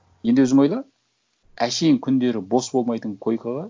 енді өзің ойла әншейін күндері бос болмайтын койкаға